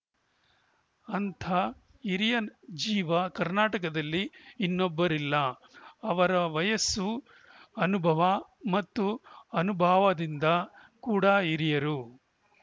ಅಂಥ ಹಿರಿಯ ಜೀವ ಕರ್ನಾಟಕದಲ್ಲಿ ಇನ್ನೊಬ್ಬರಿಲ್ಲ ಅವರ ವಯಸ್ಸು ಅನುಭವ ಮತ್ತು ಅನುಭಾವದಿಂದ ಕೂಡಾ ಹಿರಿಯರು